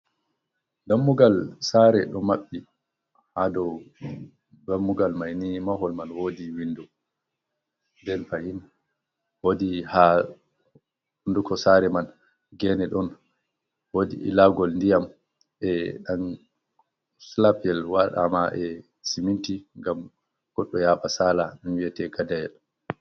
Dammugal sare ɗo maɓɓi hado dammugal maini mahol man wodi windo, nden fahin wodi ha wunduko sare man gene ɗon wodi ilagol ndiyam e slap yel waɗama e siminti ngam goɗɗo yaɓa sala wiyete gadayal.